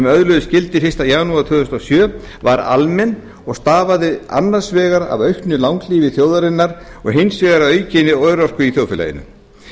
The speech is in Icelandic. öðluðust gildi fyrsta janúar tvö þúsund og sjö var almenn og stafaði annars vegar af auknu langlífi þjóðarinnar og hins vegar af aukinni örorku í þjóðfélaginu